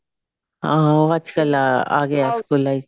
ਹਾਂ ਉਹ ਅੱਜਕਲ ਆ ਗਿਆ ਹੈ ਸਕੂਲਾਂ ਦੇ ਵਿੱਚ